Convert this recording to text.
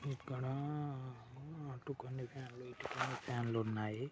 ఇక్కడ అటు కొన్ని ఫ్యాన్ లు ఇటు కొన్ని ఫ్యాన్ ఉన్నాయి